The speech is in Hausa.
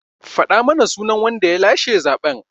Faɗa mana sunan wanda ya lashe zaɓen!